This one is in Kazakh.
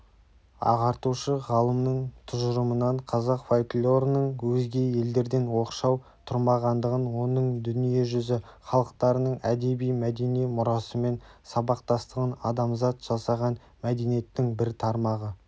ағартушы-ғалымның тұжырымынан қазақ фольклорының өзге елдерден оқшау тұрмағандығын оның дүниежүзі халықтарының әдеби-мәдени мұрасымен сабақтастығын адамзат жасаған мәдениеттің бір тармағы